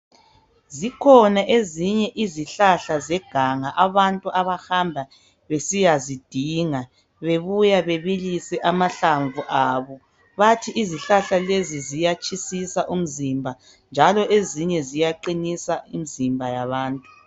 Zikhona ezinye izihlahla zeganga abantu abahamba besiyazidinga bebuya bebilisa amahlamvu abo. Bathi izihlahla lezi ziyatshisisa umzimba njalo ezinye ziyaqinisa imizimba yabantu.